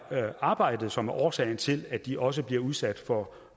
arbejdet som er årsagen til at de også bliver udsat for